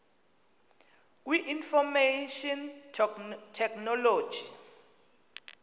kwi information technology